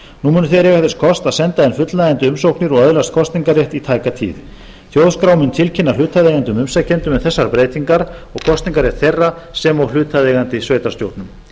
munu þeir eiga þess kost að senda inn fullnægjandi umsóknir og öðlast kosningarrétt í tæka tíð þjóðskrá mun tilkynna hlutaðeigandi umsækjendum um þessar breytingar og kosningarrétt þeirra sem og hlutaðeigandi sveitarstjórnum